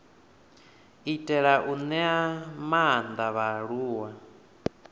itela u ṅea maanḓa vhaaluwa